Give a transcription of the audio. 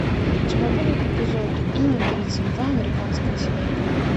у тебя будет эпизод тридцать два американская семейка